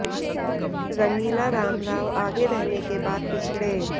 रंगीला राम राव आगे रहने के बाद पिछडे़